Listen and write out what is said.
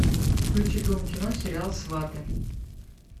включи дом кино сериал сваты